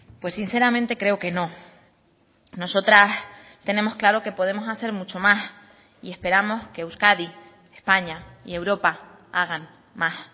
pues sinceramente creo que no nosotras tenemos claro que podemos hacer mucho más y esperamos que euskadi españa y europa hagan más